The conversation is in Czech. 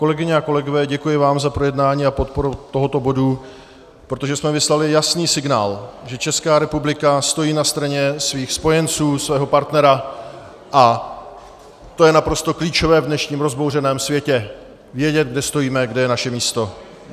Kolegyně a kolegové, děkuji vám za projednání a podporu tohoto bodu, protože jsme vyslali jasný signál, že Česká republika stojí na straně svých spojenců, svého partnera, a to je naprosto klíčové a dnešním rozbouřeném světě - vědět, kde stojíme, kde je naše místo.